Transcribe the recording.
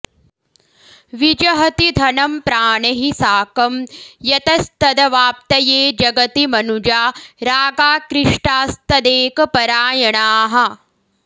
विजहति धनं प्राणैः साकं यतस्तदवाप्तये जगति मनुजा रागाकृष्टास्तदेकपरायणाः